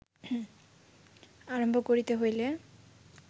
আরম্ভ করিতে হইলে